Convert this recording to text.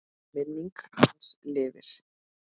Minning hans lifir.